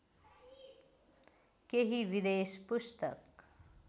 केही विदेश पुस्तक